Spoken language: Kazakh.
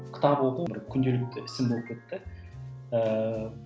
кітап оқу бір күнделікті ісім болып кетті ііі